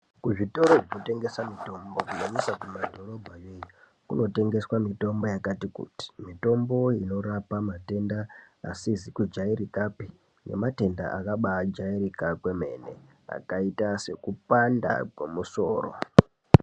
Kuzvitoro zvinotengesa mitombo kunyanyisa kumadhorobha yoiyo kunotengeswa mitombo yakati kuti mitombo inorapa matenda asizi kujairikapi nematenda akabajairika kwemene akaita sekupanda kwemusoro.